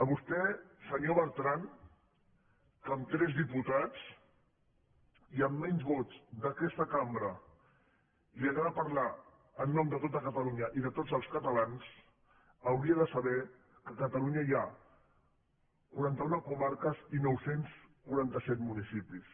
vostè senyor bertran a qui amb tres diputats i amb menys vots d’aquesta cambra li agrada parlar de tot catalunya i de tots els catalans hauria de saber que a catalunya hi ha quaranta una comarques i nou cents i quaranta set municipis